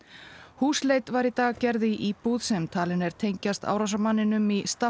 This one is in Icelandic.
húsleit var í dag gerð í íbúð sem talin er tengjast árásarmanninum í